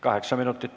Kaheksa minutit.